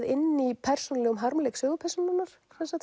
inn í persónulegum harmleik sögupersónunnar